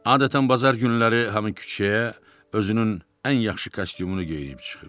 Adətən bazar günləri hamı küçəyə özünün ən yaxşı kostyumunu geyinib çıxır.